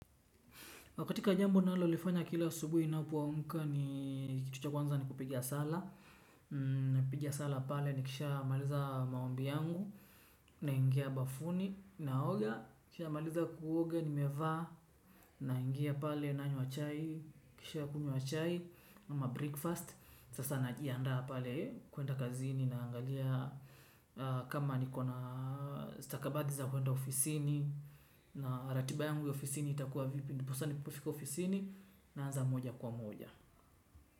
Na kakati jambo nalolifanya kila asubuhi napoamk ni kitu cha kwanza ni kupiga sala. Napiga sala pale ni kisha maliza maombi yangu na ingia bafuni naoga pia nikishamaliza kuoga nimeva na ingia pale nanywa chai nikisha kunywa chai ama breakfast sasa najianda pale kuenda kazini na angalia kama niko na stakabadi za kuenda ofisini na ratiba yangu ya ofisini itakuwa vipi. Ndiposa ninapofika ofisini naanza moja kwa moja.